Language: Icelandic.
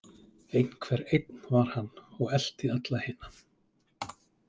Einhver einn var hann og elti alla hina.